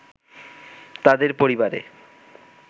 তাদের পরিবারে